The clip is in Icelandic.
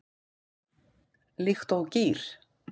Líkt og gír